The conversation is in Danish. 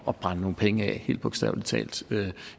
at brænde nogle penge af helt bogstavelig talt